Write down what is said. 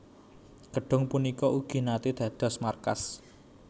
Gedhung punika ugi naté dados markas